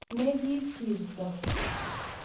Ne kisiirto